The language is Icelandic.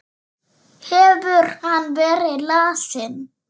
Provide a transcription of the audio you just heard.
Hefur hann verið lasinn?